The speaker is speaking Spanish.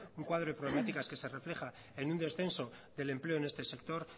un cuadro de problemáticas que se refleja en un descenso del empleo en este sector